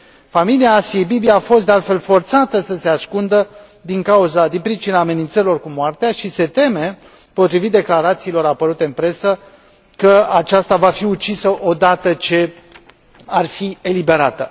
Familia Asiei Bibi a fost, de altfel, forțată să se ascundă din pricina amenințărilor cu moartea și se teme, potrivit declarațiilor apărute în presă, că aceasta va fi ucisă odată ce ar fi eliberată.